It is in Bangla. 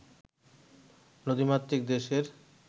নদীমাতৃক দেশের